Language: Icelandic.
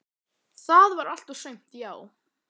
Það var allt og sumt, já.